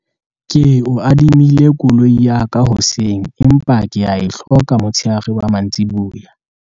ke o adimile koloi ya ka hoseng empa ke a e hloka motsheare wa mantsiboya